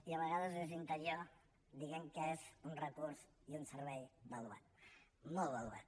i a vegades des d’interior diem que és un recurs i un servei valuat molt valuat